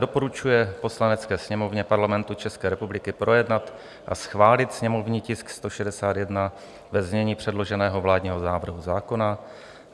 Doporučuje Poslanecké sněmovně Parlamentu České republiky projednat a schválit sněmovní tisk 161 ve znění předloženého vládního návrhu zákona.